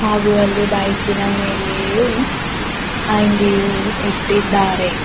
ಆಗು ಅಲ್ಲಿ ಬೈಕಿನ ಮೇಲೆಯೂ ಅಂಗಿಯು ಇಟ್ಟಿದ್ದಾರೆ.